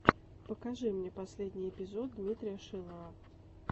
покажи мне последний эпизод дмитрия шилова